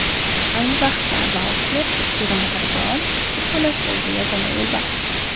Ayni vaqtda Walker Jerumatargaon qo‘riqxonasidagi yagona yo‘lbars.